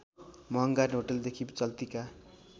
महँगा होटलदेखि चल्तीका